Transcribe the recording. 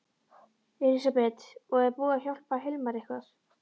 Elísabet: Og er búið að hjálpa Hilmari eitthvað?